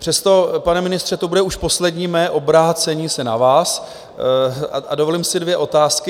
Přesto, pane ministře, to bude už poslední mé obrácení se na vás, a dovolím si dvě otázky.